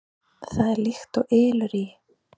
Það er líkt og ylur í